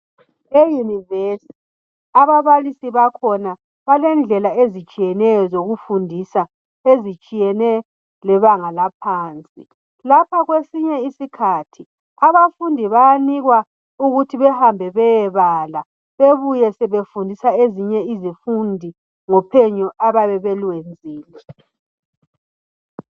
Enyuvesi ababalisi bakhona balendlela ezitshiyeneyo ezokufundisa ezitshiyene lebanga laphansi lapha kwesinye isikhathi abafundi bayanikwa ukuthi behambe beyebala bebuye sebefundisa ezinye izifundi ngophenyo abayabe belwenzile.